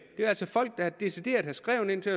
er altså folk der decideret har skrevet til